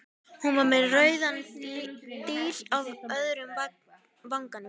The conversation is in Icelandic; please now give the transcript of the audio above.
Hún var með rauðan díl í öðrum vanganum.